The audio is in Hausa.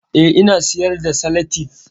Eh, ina siyar da salatif